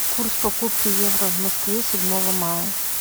курс покупки евро в москве седьмого мая